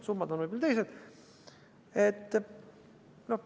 Summad on võib-olla teised.